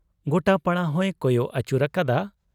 ᱜᱚᱴᱟ ᱯᱟᱲᱟ ᱦᱚᱸᱭ ᱠᱚᱭᱚᱜ ᱟᱹᱪᱩᱨ ᱟᱠᱟᱫᱟ ᱾